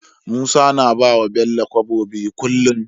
Musa na bawa bello kobo biyu kullun